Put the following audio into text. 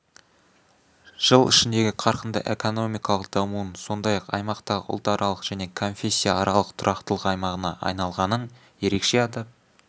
жыл ішіндегі қарқынды экономикалық дамуын сондай-ақ аймақтағы ұлтаралық және конфессияаралық тұрақтылық аймағына айналғанын ерекше атап